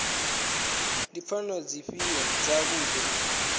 ndi pfanelo dzifhio dza muthu